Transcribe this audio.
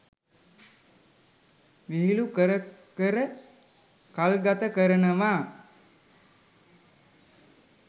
විහිළු කර කර කල්ගත කරනවා.